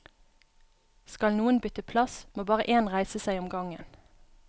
Skal noen bytte plass, må bare én reise seg om gangen.